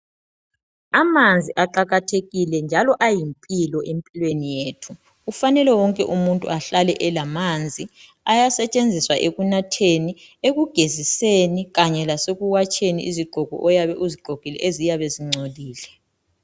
Amanzi aqakathekile njalo ayimpilo empilweni yethu kufanele wonke umuntu ahlale elamanzi Ayasetshenziswa ekunatheni ekugeziseni, ekunatheni kanye lasekuwatsheni izigqoko oyabe uzigqokile eziyabe zingcolile.